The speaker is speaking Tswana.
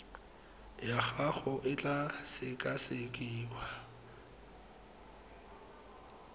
ya gago e tla sekasekiwa